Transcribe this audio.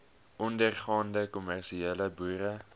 ondergaande kommersiële boere